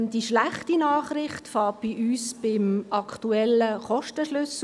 Die schlechte Nachricht beginnt bei uns beim aktuellen Kostenschlüssel.